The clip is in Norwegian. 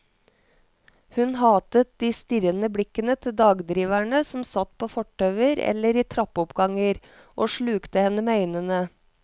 Hun hatet de strirrende blikkende til dagdriverne som satt på fortauer eller i trappeoppganger og slukte henne med øynene.